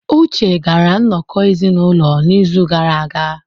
Uche gara nnọkọ ezinụlọ n'izu gara aga.